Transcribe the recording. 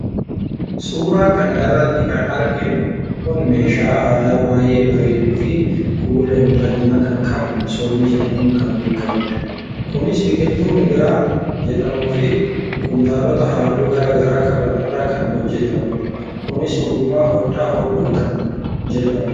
Suuraa kana irratti kan arginu Kun meeshaa aadaa baay'ee bareeduufi kuula miidhagaa kan qabu masoobii jedhamuum kan beekamudha. Kunis biqiltuu migira jedhamuufi kuntaalota halluu gargaraa qaban irraa kan hojjetamudha. Kunis ogummaa hodhaa hodhuu kan jedhamudha.